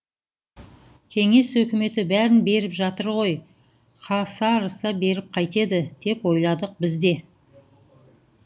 кеңес өкіметі бәрін беріп жатыр ғой қасарыса беріп қайтеді деп ойладық біз де